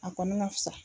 A kɔni ka fisa